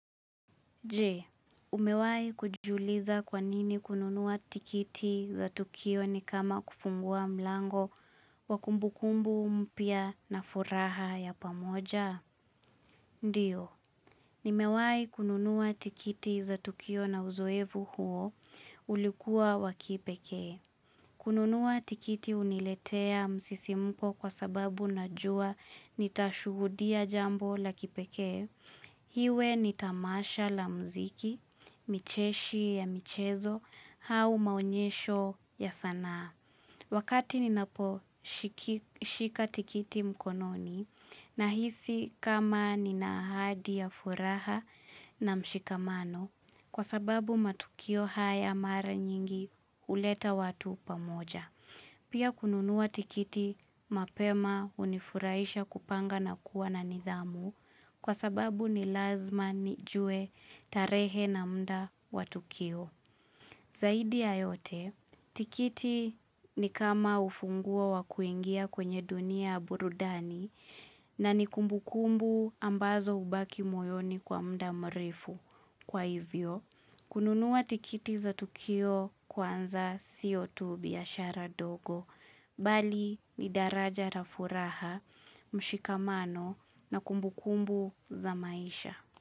Je, umewahi kujiuliza kwanini kununua tiketi za tukio ni kama kufungua mlango wa kumbukumbu mpya na furaha ya pamoja? Ndiyo, nimewahi kununua tiketi za tukio na uzoefu huo ulikuwa wa kipekee. Kununua tiketi huniletea msisimko kwa sababu na jua nitashuhudia jambo la kipekee. Iwe ni tamasha la mziki, micheshi ya michezo, au maonyesho ya sanaa. Wakati ninapo shika tiketi mkononi, na hisi kama ninaahadi ya furaha na mshikamano, kwa sababu matukio haya mara nyingi huleta watu pamoja. Pia kununua tiketi mapema hunifurahisha kupanga na kuwa na nidhamu, kwa sababu ni lazima nijue tarehe na mda wa tukio. Zaidi ya yote, tiketi ni kama ufunguo wakuingia kwenye dunia burudani na ni kumbukumbu ambazo hubaki moyoni kwa mda mrefu. Kwa hivyo, kununua tiketi za tukio kwanza sio tu biashara ndogo. Bali ni daraja la furaha, mshikamano na kumbu kumbu za maisha.